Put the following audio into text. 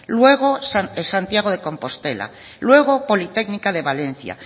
luego santiago de compostela luego politécnica de valencia